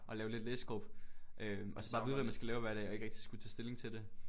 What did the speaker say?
Og lave lidt læsegruppe øh og så bare vide hvad man skal lave hver dag og ikke rigtig skulle tage stilling til det